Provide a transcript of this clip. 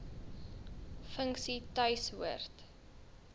funksie tuis hoort